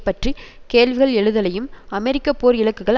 பற்றி கேள்விகள் எழுதலையும் அமெரிக்க போர் இலக்குகள்